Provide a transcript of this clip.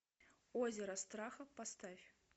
озеро страха поставь